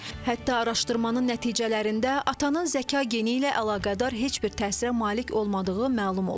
Hətta araşdırmanın nəticələrində atanın zəka geni ilə əlaqədar heç bir təsirə malik olmadığı məlum olub.